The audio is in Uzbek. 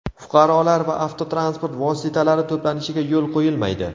Fuqarolar va avtotransport vositalari to‘planishiga yo‘l qo‘yilmaydi.